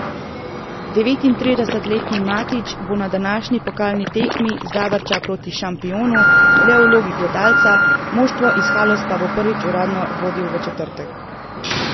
Devetintridesetletni Matić bo na današnji pokalni tekmi Zavrča proti Šampionu le v vlogi gledalca, moštvo iz Haloz pa bo prvič uradno vodil v četrtek.